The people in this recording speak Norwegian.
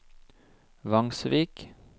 Vangsvik